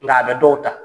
Nka a bɛ dɔw ta